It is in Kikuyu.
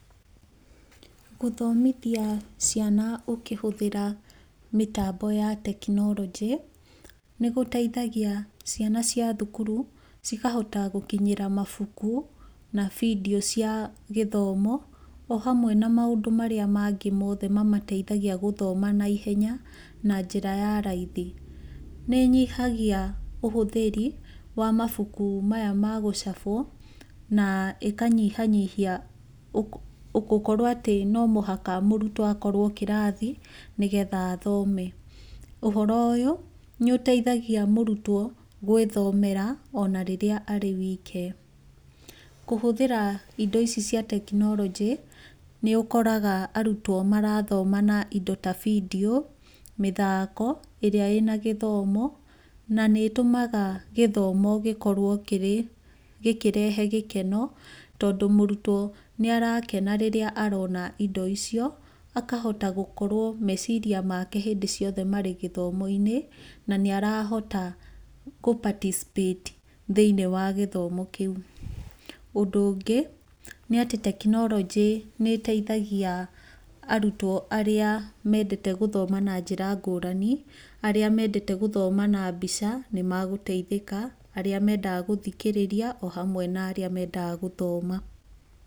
Gũthomithia ciana ũkĩhũthĩra mĩtambo ya tekinoronjĩ nĩgũteithagia ciana cia thukuru cikahota gũkinyĩra mabuku na bindio cia githomo ohamwe na maũndũ marĩa mangĩ mothe mamateithagia gũthoma na ihenya na njĩra ya raithi. Nĩ ĩnyihagia ũhũthĩri wa mabuku maya magũcabwo na ĩkanyihanyihia gũkorwo atĩ no mũhaka mũrutwo akorwo kĩrathi nĩgetha athome. ũhoro ũyũ nĩ ũteithagia mũrutwo gwĩthomera onarĩrĩa arĩ wike. Kũhũthĩra indo ici cia tekinoronjĩ, nĩ ũkoraga arutwo marathoma na indo ta bindio, mĩthako ĩrĩa ĩna gĩthomo na nĩ ĩtũmaga gĩthomo gĩkorwo gĩkĩrehe gĩkeno tondũ mũrutwo nĩ arakena rĩrĩa arona indo icio akahota gũkorwo meciria make hĩndĩ ciothe marĩ gĩthomo-inĩ na nĩ arahota gũ participate thĩinĩ wa gĩthomo kĩu. Ũndũ ũngĩ nĩ atĩ tekinoronjĩ nĩ ĩteithagia arutwo arĩa mendete gũthoma na njĩra ngũrani arĩa mendete gũthoma na mbica nĩ magũteithĩka arĩa mendaga gũthikĩrĩria ohamwe na arĩa mendaga gũthoma